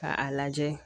Ka a lajɛ